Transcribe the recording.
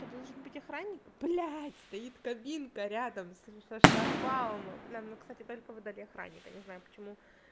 то должен быть охранник блядь стоит кабинка рядом со шлагбаумом нам ну кстати только выдали охранника не знаю почему